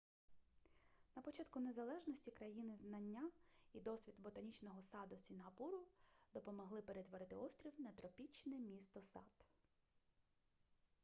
на початку незалежності країни знання і досвід ботанічного саду сінгапуру допомогли перетворити острів на тропічне місто-сад